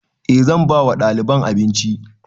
E zan ba wa ɗaliban abinci